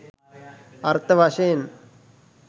අර්ථ වශයෙන්